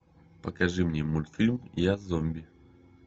покажи мне мультфильм я зомби